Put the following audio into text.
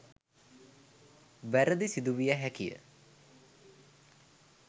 වැරැදි සිදුවිය හැකි ය.